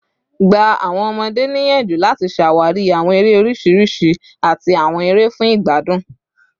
Gba awọn ọmọde niyanju lati ṣawari awọn ere oriṣiriṣi ati awọn ere fun igbadun